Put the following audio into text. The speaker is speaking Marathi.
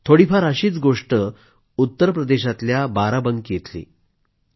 थोडीफार अशीच गोष्ट उत्तर प्रदेशातल्या बाराबंकी इथली आहे